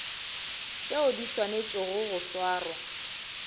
tšeo di swanetšego go swarwa